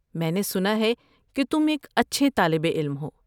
میں نے سنا ہے کہ تم ایک اچھے طالب علم ہو۔